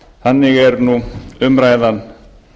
þannig er nú umræðan